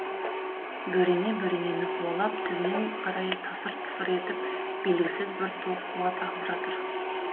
бөрене бөренені қуалап төмен қарай тасыр тысыр етіп белгісіз бір тоқ қуат ағып жатыр